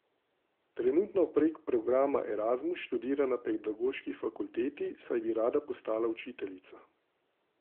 Trenutno prek programa Erasmus študira na pedagoški fakulteti, saj bi rada postala učiteljica.